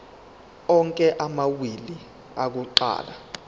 onke amawili akuqala